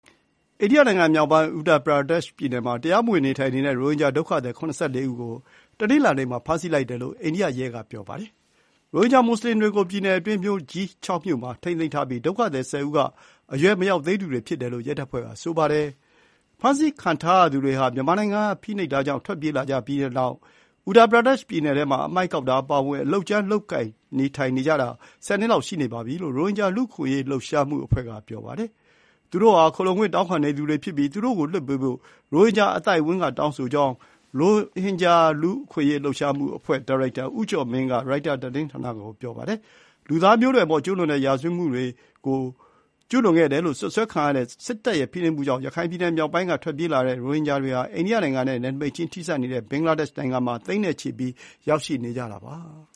အိန္ဒိယနိုင်ငံ မြောက်ပိုင်း Uttar Pradesh ပြည်နယ်မှာ တရားမ၀င်နေထိုင်တဲ့ ရိုဟင်ဂျာဒုက္ခသည် ၇၄ ဦးကို တနင်္လာနေ့မှာ ဖမ်းဆီးလိုက်တယ်လို့ အိန္ဒိယရဲတွေက ပြောပါတယ်။ ရိုဟင်ဂျာမွတ်ဆလင်တွေကို ပြည်နယ်အတွင်း မြို့ကြီး (၆) မြို့မှာ ထိန်းသိမ်းထားပြီး ဒုက္ခသည် ၁၀ ဦးမှာ အရွယ်မရောက်သေးသူတွေ ဖြစ်ကြောင်း ရဲတပ်ဖွဲ့က ပြောပါတယ်။ ဖမ်းဆီးခံထားရသူတွေဟာ မြန်မာနိုင်ငံကဖိနှိပ်မှုတွေကနေ ထွက်ပြေးလာပြီးတဲ့နောက် Uttar Pradesh ပြည်နည်ထဲမှာ အမှိုက်ကောက်တာအပါအဝင် အလုပ်ကြမ်းတွေလုပ်ကိုင်ပြီး နေထိုင်နေတာ ၁၀ နှစ် လောက်ရှိနေပြီ ဖြစ်တယ်လို့ ရိုဟင်ဂျာလူ့အခွင့်အရေး လှုပ်ရှားမှုအဖွဲ့က ပြောပါတယ်။ ရိုဟင်ဂျာတွေဟာ “ခိုလှုံခွင့်တောင်းခံနေသူဖြစ်ပြီး သူတို့ကိုလွှတ်ပေးဖို့ ရိုဟင်ဂျာအသိုင်းအဝန်းက တောင်းဆိုကြောင်း” ရိုဟင်ဂျာ လူ့အခွင့်အရေး လှုပ်ရှားမှု အဖွဲ့ (Rohingya Human Rights Initiative) ဒါရိုက်တာ ဦးကျော်မင်းကရိုက်တာ သတင်းဌာနကို ပြောပါတယ်။ လူသားမျိုးနွယ်အပေါ် ကျူးလွန်တဲ့ရာဇ၀တ်မှုတွေလို့ စွပ်စွဲခံရတဲ့စစ်တပ်ရဲ့ဖိနှိပ်မှုကြောင့် ရခိုင်ပြည်နယ် မြောက်ပိုင်းက ထွက်ပြေးလာတဲ့ ရိုဟင်ဂျာသိန်းနဲ့ချီဟာ အိန္ဒိယနိုင်ငံနဲ့နယ်နိမိတ်ချင်း ထိစပ်နေတဲ့ ဘင်္ဂလားဒေ့ရှ်နိုင်ငံမှာ ရောက်ရှိနေကြတာပါ